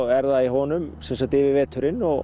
er það í honum yfir veturinn og